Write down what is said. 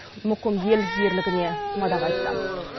мұқым ел ерлігіне мадақ айтты